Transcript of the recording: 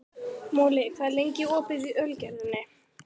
Moli, hvað er lengi opið í Ölgerðinni?